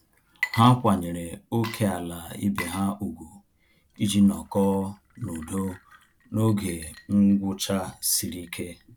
Ha kwanyere ókèala ibe ha ùgwù iji nọkọ na-udo n'oge ngwụcha sịrị ike